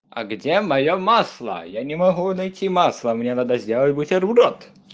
а где моё масло я не могу найти масло мне надо сделать бутерброд